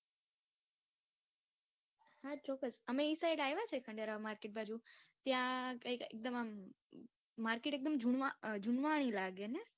હા ચોક્કસ અમે એ Side આવ્યા છીએ એ બાજુ, ત્યાં એકદમ આમ Market જુણવા એકદમ જુણવાણી લાગે ને.